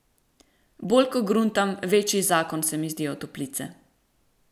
Bolj ko gruntam, večji zakon se mi zdijo toplice.